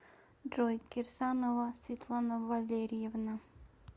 джой кирсанова светлана валерьевна